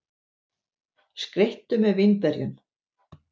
Skreyttu með vínberjunum.